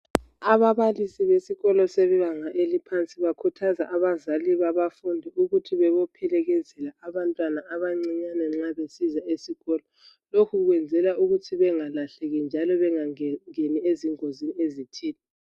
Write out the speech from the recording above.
Ababalisi besikolo esebanga eliphansi bakhuthaza abazali babafundi ukuthi bebophelekezela abantwana abancinyane nxa besiza esikolo. Lokhu kuyenzelwa ukuthi bengalahleki njalo bengangeni ezingozini ezithile.